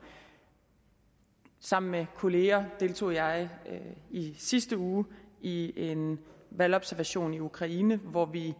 sammen med kollegaer deltog jeg i sidste uge i en valgobservation i ukraine hvor vi i